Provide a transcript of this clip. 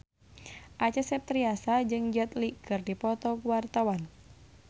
Acha Septriasa jeung Jet Li keur dipoto ku wartawan